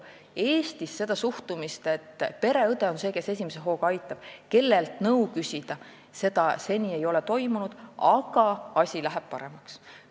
Eestis seda suhtumist, et pereõde on see, kes esimese hooga aitab, tema on see, kellelt nõu küsida, seni ei ole, aga asi läheb paremaks.